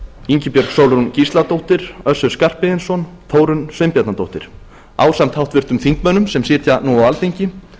ingibjörg sólrún gísladóttir össur skarphéðinsson og þórunn sveinbjarnardóttir ásamt háttvirtum þingmönnum sem sitja nú á alþingi